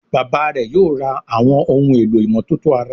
Bàbá rẹ yóò rà Àwọn ohun èlò ìmọ́tótó ara